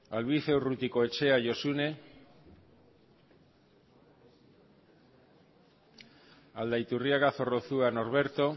albizua urrutikoetxea josune aldaiturriaga zorrozua norberto